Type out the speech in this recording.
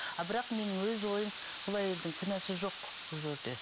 а бірақ менің өз ойым бұл әйелдің кінәсі жоқ бұл жерде